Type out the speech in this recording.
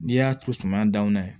N'i y'a to suma danw na ye